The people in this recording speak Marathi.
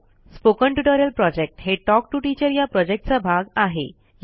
स्पोकन ट्युटोरियल प्रॉजेक्ट हे टॉक टू टीचर या प्रॉजेक्टचा भाग आहे